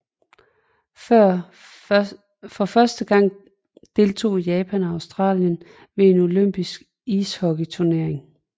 For første gang deltog Japan og Australien ved en olympisk ishockeyturnering